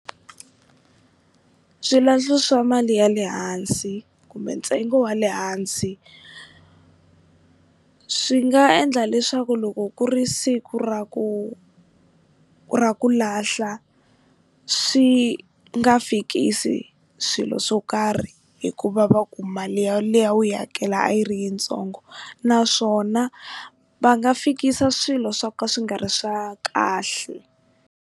Swilahlo swa mali ya le hansi kumbe ntsengo wa le hansi swi nga endla leswaku loko ku ri siku ra ku ra ku lahla swi nga fikisi swilo swo karhi hikuva va ku mali ya leyi a wu yi hakela a yi ri yitsongo naswona va nga fikisa swilo swo ka swi nga ri swa kahle.